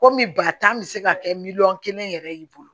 Komi ba tan bɛ se ka kɛ miliyɔn kelen yɛrɛ y'i bolo